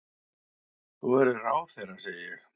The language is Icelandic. Þú verður ráðherra, segi ég.